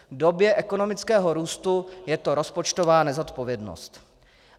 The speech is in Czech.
V době ekonomického růstu je to rozpočtová nezodpovědnost.